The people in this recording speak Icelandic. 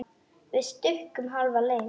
Við stukkum hálfa leið.